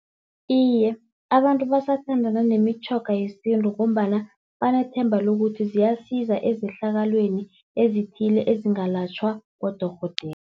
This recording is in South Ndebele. Iye, abantu basathandana nemitjhoga yesintu ngombana banethemba lokuthi ziyasiza ezehlakalweni ezithile ezingalatjhwa bodorhodera.